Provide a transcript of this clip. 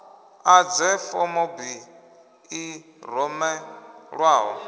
ḓadze form b i rumelwaho